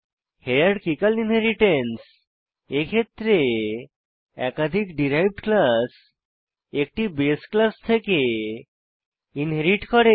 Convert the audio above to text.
hierarchical inheritance এক্ষেত্রে একাধিক derived class একটি বাসে ক্লাস থেকে ইনহেরিট করে